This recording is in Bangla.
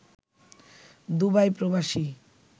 দুবাই প্রবাসী